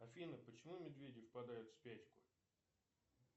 афина почему медведи впадают в спячку